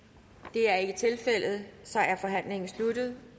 det er ikke tilfældet så er forhandlingen sluttet